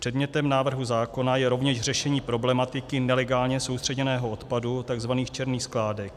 Předmětem návrhu zákona je rovněž řešení problematiky nelegálně soustředěného odpadu, tzv. černých skládek.